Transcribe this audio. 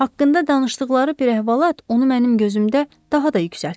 Haqqında danışdıqları bir əhvalat onu mənim gözümdə daha da yüksəltdi.